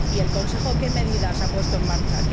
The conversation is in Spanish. Y el Consejo, ¿qué medidas ha puesto en marcha?